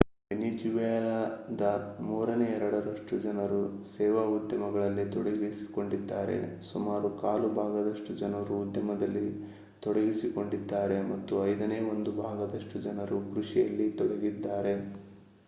ವೆನಿಜುವೆಲಾದ ಮೂರನೇ ಎರಡರಷ್ಟು ಜನರು ಸೇವಾ ಉದ್ಯಮದಲ್ಲಿ ತೊಡಗಿಸಿಕೊಂಡಿದ್ದಾರೆ ಸುಮಾರು ಕಾಲು ಭಾಗದಷ್ಟು ಜನರು ಉದ್ಯಮದಲ್ಲಿ ತೊಡಗಿಸಿಕೊಂಡಿದ್ದಾರೆ ಮತ್ತು ಐದನೇ ಒಂದು ಭಾಗದಷ್ಟು ಜನರು ಕೃಷಿಯಲ್ಲಿ ತೊಡಗಿದ್ದಾರೆ